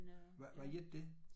Hvad hvad hedder det?